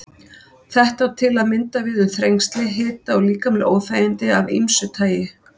Þetta á til að mynda við um þrengsli, hita og líkamleg óþægindi af ýmsu tagi.